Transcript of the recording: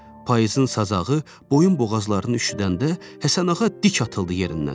Payızın sazağı boyun-boğazlarını üşüdəndə Həsənağa dik atıldı yerindən.